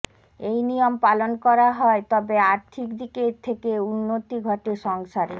এই নিয়ম পালন করা হয় তবে আর্থিক দিকে থেকে উন্নতি ঘটে সংসারের